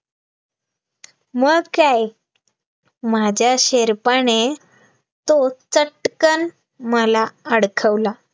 मग काय माझ्या शेरपाने, तो चटकन मला अडकवला